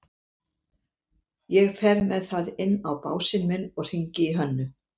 Ég fer með það inn á básinn minn og hringi í Hönnu.